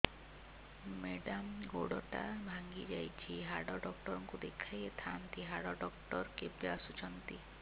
madam ଗୋଡ ଟା ଭାଙ୍ଗି ଯାଇଛି ହାଡ ଡକ୍ଟର ଙ୍କୁ ଦେଖାଇ ଥାଆନ୍ତି ହାଡ ଡକ୍ଟର କେବେ ଆସୁଛନ୍ତି